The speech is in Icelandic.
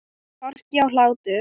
Hroki og hlátur.